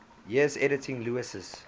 years editing lewes's